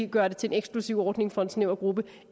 gøre det til en eksklusiv ordning for en snæver gruppe